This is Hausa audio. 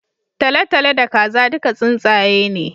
Talatalo da Kaza duka tsuntsaye ne